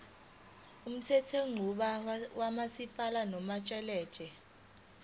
umthethonqubo kamasipala unomthelela